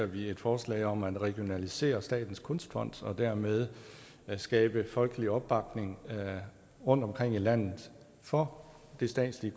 vi et forslag om at regionalisere statens kunstfond og dermed skabe folkelig opbakning rundtomkring i landet for det statslige